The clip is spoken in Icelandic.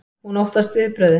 Hún óttast viðbrögðin.